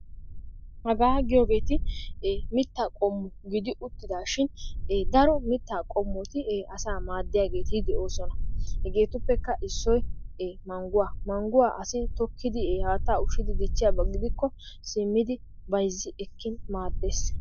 Hagaa giyoogeeti ee mitaa qommo gidi uttidaashin daro mitaa qommoti ee asa maadiyaageeti de'oosona. hegeetuppekka issoy mangguwa. manguwa asi tokkidi ee haatta ushidi dichiyaba gidikko simmidi bayzzi ekkin maadees.